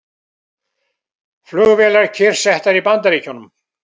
Flugvélar kyrrsettar í Bandaríkjunum